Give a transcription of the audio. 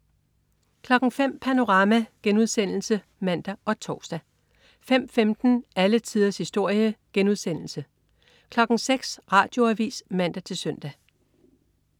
05.00 Panorama* (man og tors) 05.15 Alle tiders historie* 06.00 Radioavis (man-søn)